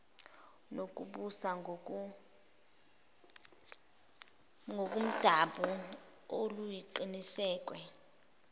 nokubusa ngokomdabu oluqinisekiswe